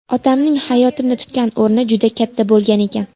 Otamning hayotimda tutgan o‘rni juda katta bo‘lgan ekan.